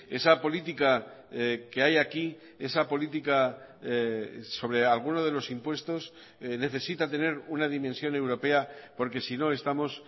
esa política que hay aquí esa política sobre alguno de los impuestos necesita tener una dimensión europea porque si no estamos